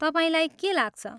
तपाईँलाई के लाग्छ?